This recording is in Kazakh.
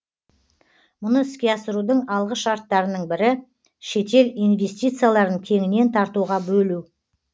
мұны іске асырудың алғы шарттарының бірі шетел инвестицияларын кеңінен тартуға бөлу